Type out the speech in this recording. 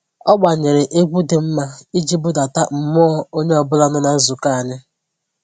Ọ gbanyere egwu dị mma iji budata mmụọ onye ọbụla nọ na nzukọ anyị